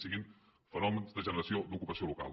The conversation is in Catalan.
fossin fenòmens de generació d’ocupació local